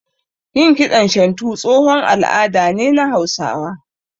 Yin kiɗan shantu tsohon al'ada ne na Hausawa